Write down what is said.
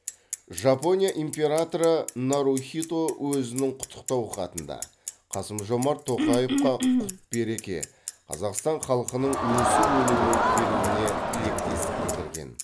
жапония императоры нарухито өзінің құттықтау хатында қасым жомарт тоқаевқа құт береке қазақстан халқының өсіп өну беруіне тілектестік білдірген